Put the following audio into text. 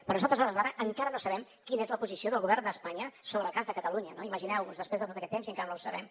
però nosaltres a hores d’ara encara no sabem quina és la posició del govern d’espanya sobre el cas de catalunya no imagineu vos després de tot aquest temps i encara no ho sabem